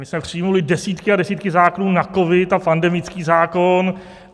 My jsme přijali desítky a desítky zákonů na covid a pandemický zákon.